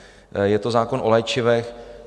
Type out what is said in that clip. Je to zákon o léčivech.